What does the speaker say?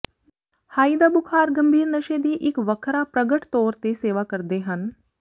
high ਦਾ ਬੁਖ਼ਾਰ ਗੰਭੀਰ ਨਸ਼ੇ ਦੀ ਇੱਕ ਵੱਖਰਾ ਪ੍ਰਗਟ ਤੌਰ ਤੇ ਸੇਵਾ ਕਰਦੇ ਹਨ